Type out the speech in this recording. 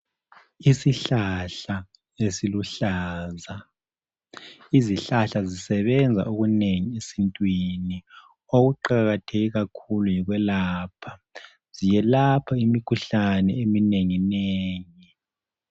Isihlahla esiluhlaza, izihlahla zisebenza okunengi esintwini okuqatheke kakhulu yikwelapha ziyelapha imikhuhlane eminengi nengi.